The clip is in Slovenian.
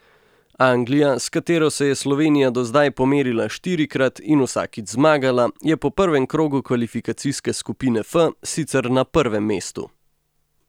Anglija, s katero se je Slovenija do zdaj pomerila štirikrat in vsakič zmagala, je po prvem krogu kvalifikacijske skupine F sicer na prvem mestu.